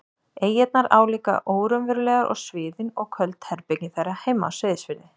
eyjarnar álíka óraunverulegar og sviðin og köld herbergin þeirra heima á Seyðisfirði.